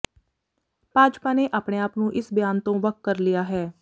ਭਾਜਪਾ ਨੇ ਆਪਣੇ ਆਪ ਨੂੰ ਇਸ ਬਿਆਨ ਤੋਂ ਵੱਖ ਕਰ ਲਿਆ ਹੈ